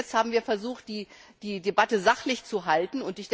Bis jetzt haben wir versucht, die Debatte sachlich zu halten.